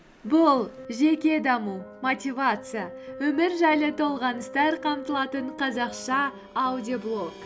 бұл жеке даму мотивация өмір жайлы толғаныстар қамтылатын қазақша аудиоблог